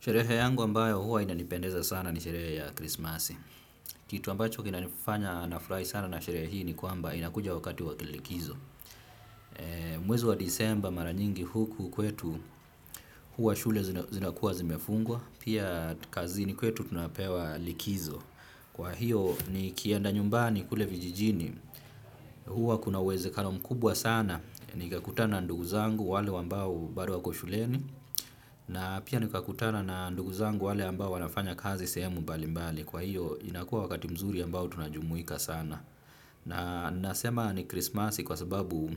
Sherehe yangu ambayo huwa inanipendeza sana ni sherehe ya krismasi. Kitu ambacho kinafanya nafurai sana na sherehe hii ni kwamba inakuja wakati wa kilikizo. Mwezi wa disemba mara nyingi huku kwetu huwa shule zinakuwa zimefungwa. Pia kazini kwetu tunapewa likizo. Kwa hiyo nikienda nyumbani kule vijijini. Huwa kuna uwezekano mkubwa sana. Nikakutana na ndugu zangu wale ambao bado wako shuleni. Na pia nikakutana na ndugu zangu wale ambao wanafanya kazi sehemu mbalimbali kwa hiyo inakuwa wakati mzuri ambao tunajumuika sana na nasema ni krismasi kwa sababu